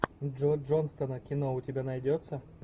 джо джонстона кино у тебя найдется